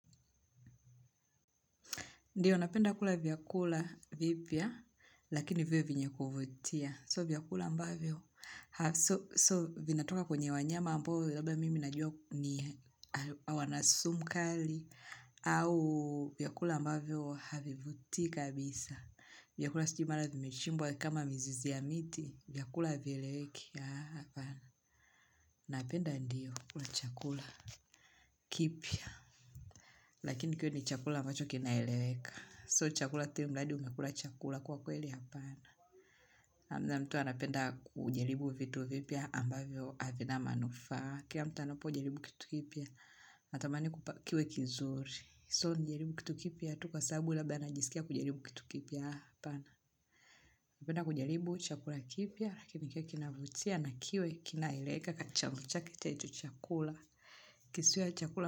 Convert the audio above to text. Ndiyo, napenda kula vyakula vipya, lakini viwe vyenye kuvutia. Siyo vyakula ambavyo, siyo vinatoka kwenye wanyama ambao labda mimi najua wana sumu kali, au vyakula ambavyo havivutii kabisa. Vyakula sijui mara vimechimbwa kama mizizi ya miti, vyakula havieleweki hapana, napenda ndiyo, kula chakula kipya, lakini kiwe ni chakula ambacho kinaeleweka. Siyo chakula kile mradi umekula chakula kwa kweli hapana. Kwanza mtu anapenda kujaribu vitu vipya ambavyo havina manufaa. Kila mtu anapojaribu kitu kipya, natamani kiwe kizuri. Siyo nijaribu kitu kipya tu kwa sababu labda najisikia kujaribu kitu kipya hapana. Napenda kujaribu chakula kipya, lakini kiwe kinavutia, na kiwe kinaeleweka hicho chakula. Kisiwe chakula.